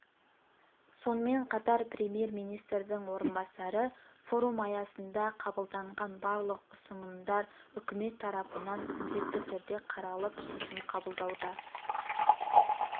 сонымен қатар премьер-министрдің орынбасары форум аясында қабылданған барлық ұсынымдар үкімет тарапынан міндетті түрде қаралып шешім қабылдауда